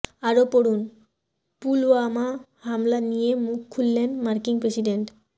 আরও পড়ুন পুলওয়ামা হামলা নিয়ে মুখ খুললেন মার্কিন প্রেসিডেন্ট